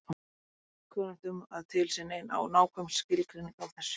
Okkur er ekki kunnugt um að til sé nein nákvæm skilgreining á þessu.